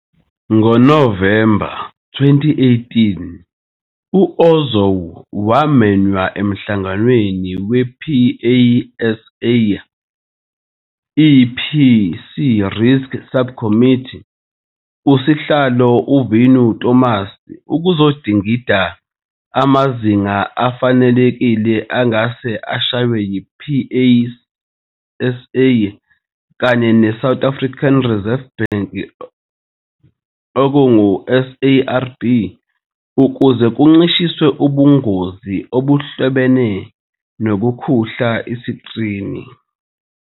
NgoNovemba 2018, u-Ozow wamenywa emhlanganweni we-PASA EPC Risk Subcommittee, usihlalo wayo u-Vinu Thomas, ukuzodingida amazinga afanelekile angase ashaywe yi-PASA kanye ne- South African Reserve Bank, SARB, ukuze kuncishiswe ubungozi obuhlobene nokukhuhla isikrini.